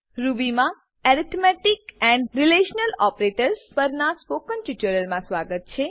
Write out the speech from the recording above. Ruby માં arithmetic relational operators પરનાં spoken ટ્યુટોરીયલમાં સ્વાગત છે